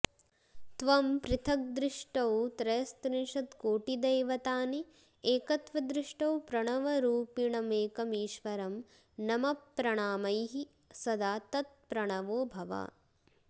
त्वं पृथक् दृष्टौ त्रयस्त्रिंशत्कोटिदैवतानि एकत्वदृष्टौ प्रणवरूपिणमेकमीश्वरं नम प्रणामैः सदा तत्प्रवणो भव